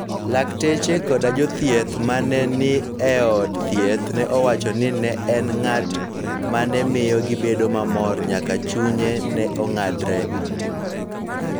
" Lakteche koda jothieth ma ne ni e od thieth no nowacho ni ne en ng'at ma ne miyo gibedo mamor nyaka chunye ne ong`adre.